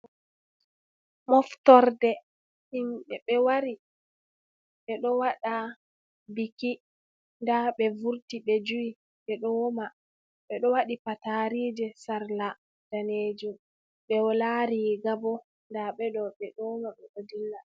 Moftorde himɓɓe ɓe wari ɓe ɗo waɗa biki, nda ɓe vurti ɓe jui ɓeɗo woma, ɓeɗo waɗi patarije sarla danejum, ɓe wala riga bo, nda ɓeɗo ɓe ɗo woma ɓe ɗo dilla.